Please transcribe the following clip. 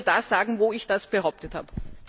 Würdest Du mir das sagen, wo ich das behauptet habe?